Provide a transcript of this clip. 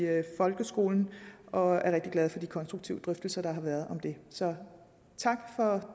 folkeskolen og jeg er rigtig glad for de konstruktive drøftelser der har været om det så tak for